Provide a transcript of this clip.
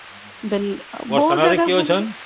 ବର୍ଷ ନା ରେ କେରେ ଅଛନ